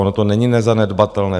Ono to není nezanedbatelné.